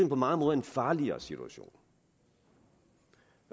på mange måder en farligere situation